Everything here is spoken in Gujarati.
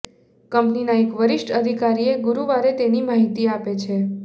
કંપનીના એક વરિષ્ઠ અધિકારીએ ગુરૂવારે તેની માહિતી આપી છે